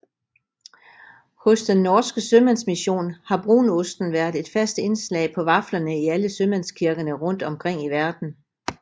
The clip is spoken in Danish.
Hos Den norske Sømandsmision har brunosten været et fast indslag på vaflerne i alle sømandskirkerne rundt omkring i verden